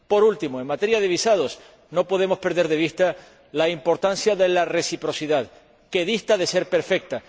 Por último, en materia de visados no podemos perder de vista la importancia de la reciprocidad, que dista de ser perfecta.